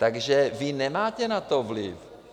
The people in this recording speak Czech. Takže vy na to nemáte vliv.